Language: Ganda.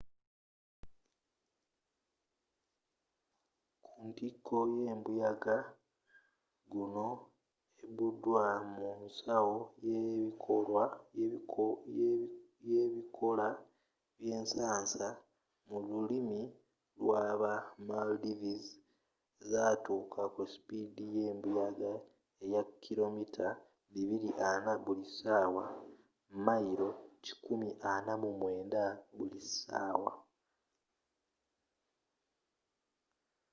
kuntiko y'embuyaga gonu ebbudwa mu nsawo y’ebikoola by’ensansa mu lulimi lwa ba maldives zatuuka ku supiidi y'embuyaga eya kilo mita 240 buli sawa mayilo 149 buli sawa